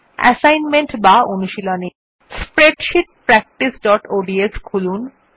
assignment বা অনুশীলনী spreadsheet practiceঅডস খুলুন